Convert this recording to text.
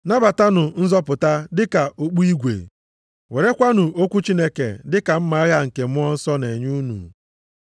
Nabatanụ nzọpụta dị ka okpu igwe, werekwanụ okwu Chineke dị ka mma agha nke Mmụọ Nsọ na-enye unu.